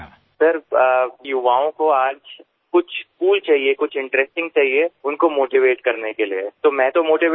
સાહેબ યુવાનાને આજે કંઈક કૂલ જોઈએ કંઈક ઇન્ટરેસ્ટિંગ જોઈએ તેમને પ્રેરિત કરવા માટે તો હું તો પ્રેરિત થઈ ગયો